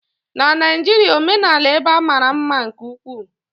na Naijiria, omenala ebe a mara mma nke ukwuu